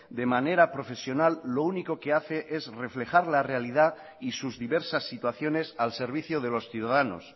de manera profesional lo único que hace es reflejar la realidad y sus diversas situaciones al servicio de los ciudadanos